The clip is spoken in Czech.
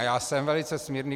A já jsem velice smírný.